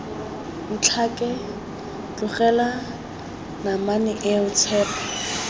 ntlhake tlogela namane eo tshepo